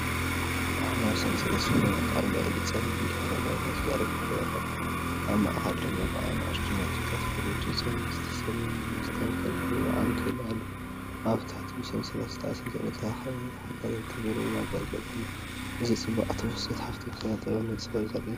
ባህላዊ ሰንሰለት ሽልማት ኣብ ልዕሊ ጸሊም ድሕረ ባይታ ተዘርጊሑ ይረአ። ኣብ ማእከል ድማ ብንኣሽቱ ነጥብታትን ፍሉይ ዲዛይንን ዝተሰለመ መስተንክር ብሩር ዓንኬል ኣሎ። ኣብ ትሕቲ ብሰንሰለት ዝተኣሳሰሩ ተኸታተልቲ ብሩር መጋየፅታት ኣለዉ። እዚ ንጽባቐ ትውፊትን ሃብታም ስነ-ጥበብን ብንጹር ዘርኢ እዩ።